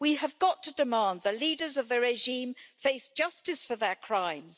We have got to demand that the leaders of the regime face justice for their crimes.